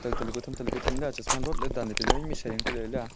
tatali ka tham tatali ka tham la chashma lotla danley tailey ima mishai ku lye la.